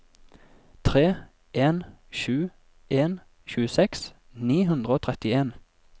tre en sju en tjueseks ni hundre og trettien